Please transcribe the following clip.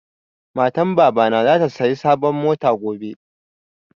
Matan baba na zata saya sabon mota gobe